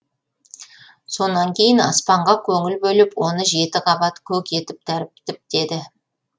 сонан кейін аспанға көңіл бөліп оны жеті қабат көк етіп тәріптіптеді